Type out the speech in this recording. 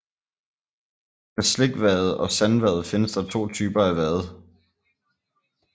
Med slikvade og sandvade findes der to typer af vade